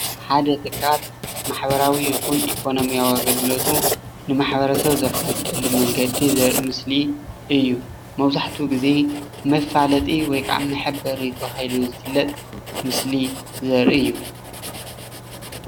ሓደ ትካል ማሕበራዊ ይኩን ኢኮኖምያዊ ኣገልግለቱ ንማሕበረሰብ ዘፋልጠሉ መንገዲ ዘርኢ ምስሊ እዩ፡፡ መብዛሕትኡ ግዜ መፋለጢ ወይ ከዓ መሐበሪ ተባሂሉ ዝፍለጥ ምስሊ ዘርኢ እዩ፡፡